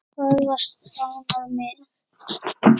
Hvað varstu ánægður með?